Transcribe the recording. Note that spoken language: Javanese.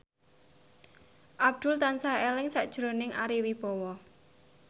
Abdul tansah eling sakjroning Ari Wibowo